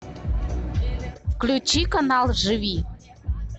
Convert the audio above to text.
включи канал живи